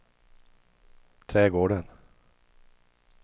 trädgården